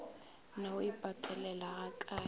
na o e patelela gakae